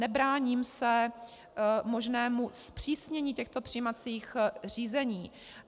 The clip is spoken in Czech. Nebráním se možnému zpřísnění těchto přijímacích řízení.